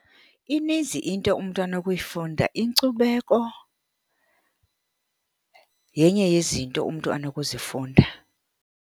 Ininzi into umntu anokuyifunda. Inkcubeko yenye yezinto umntu anokuzifunda.